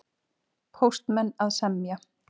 Póstmenn að semja